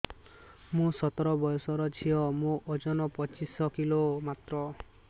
ମୁଁ ସତର ବୟସର ଝିଅ ମୋର ଓଜନ ପଚିଶି କିଲୋ ମାତ୍ର